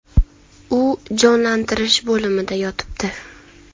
U jonlantirish bo‘limida yotibdi.